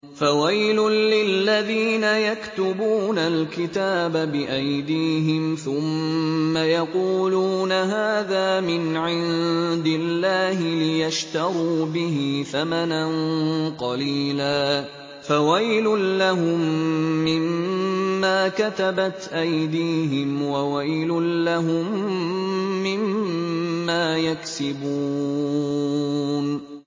فَوَيْلٌ لِّلَّذِينَ يَكْتُبُونَ الْكِتَابَ بِأَيْدِيهِمْ ثُمَّ يَقُولُونَ هَٰذَا مِنْ عِندِ اللَّهِ لِيَشْتَرُوا بِهِ ثَمَنًا قَلِيلًا ۖ فَوَيْلٌ لَّهُم مِّمَّا كَتَبَتْ أَيْدِيهِمْ وَوَيْلٌ لَّهُم مِّمَّا يَكْسِبُونَ